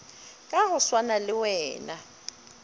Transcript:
ka go swana le wena